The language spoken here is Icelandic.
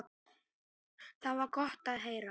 Það var gott að heyra.